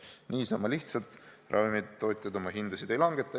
Niisama lihtsalt ravimitootjad oma hindasid ei langeta.